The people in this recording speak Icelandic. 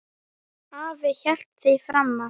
Afi hélt því fram að